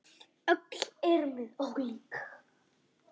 Öll erum við ólík.